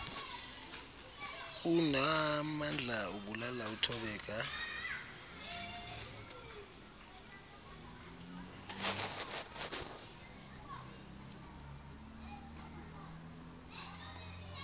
unaamandla ubulala uthobeka